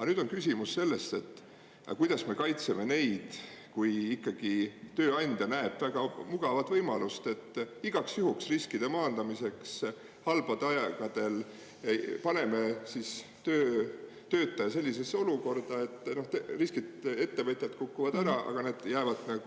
Aga nüüd on küsimus selles, et kuidas me kaitseme neid, kui ikkagi tööandja näeb väga mugavat võimalust, et igaks juhuks riskide maandamiseks halbadel aegadel paneme siis töötaja sellisesse olukorda, et riskid ettevõtjal kukuvad ära, aga need jäävad